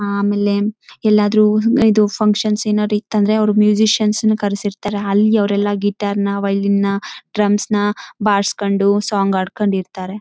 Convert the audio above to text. ನನಗೆ ಗಿಟಾರ್ ಅಂದ್ರೆ ಭಾಳ ಇಷ್ಟ. ನಾನು ಅವಾಗ ಕಳೀಬೇಕಂತ ಭಾಳ ಇಷ್ಟ ಇತ್ತು. ಈಗ ಕಲ್ತು ನನ್ನ ಹತ್ತಿರ ಒಂದು ಗಿಟಾರ್ ಇದೆ.